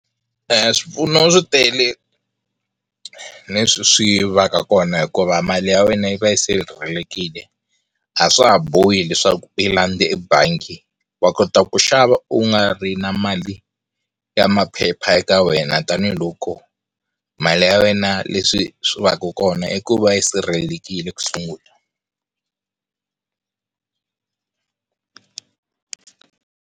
Swipfuno swi tele leswi swi vaka kona hikuva mali ya wena yi va yi sirhelelekile a swa ha bohi leswaku u yi landza ebangi wa kota ku xava u nga ri na mali ya maphepha eka wena tanihiloko mali ya wena leswi swi va ka kona i ku va yi sirhelelekile ku sungula.